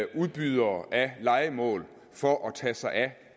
udbydere af lejemål for at tage sig af